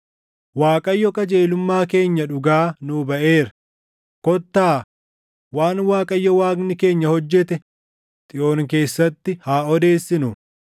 “‘ Waaqayyo qajeelummaa keenya dhugaa nuu baʼeera; kottaa, waan Waaqayyo Waaqni keenya hojjete Xiyoon keessatti haa odeessinu.’